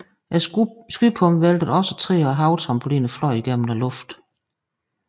Skypumpen væltede også træer og havetrampoliner fløj gennem luften